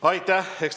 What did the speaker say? Aitäh!